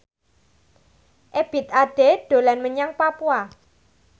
Ebith Ade dolan menyang Papua